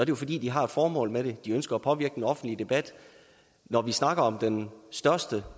jo fordi de har et formål med det de ønsker at påvirke den offentlige debat når vi snakker om den største